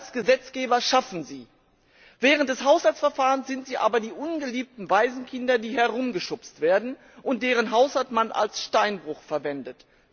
Wir als Gesetzgeber schaffen sie, während des Haushaltsverfahrens sind sie aber die ungeliebten Waisenkinder, die herumgeschubst werden und deren Haushalt man als Steinbruch verwendet.